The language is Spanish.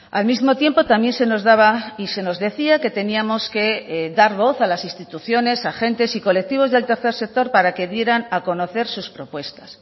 al mismo tiempo también se nos daba y se nos decía que teníamos que dar voz a las instituciones agentes y colectivos del tercer sector para que dieran a conocer sus propuestas